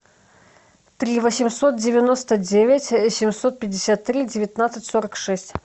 три восемьсот девяносто девять семьсот пятьдесят три девятнадцать сорок шесть